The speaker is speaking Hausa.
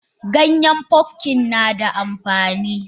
Ganyen pumpkin nada amfani.